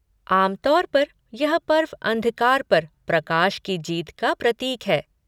आम तौर पर, यह पर्व अंधकार पर प्रकाश की जीत का प्रतीक है।